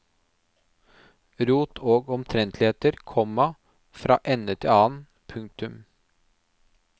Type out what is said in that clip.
Rot og omtrentligheter, komma fra ende til annen. punktum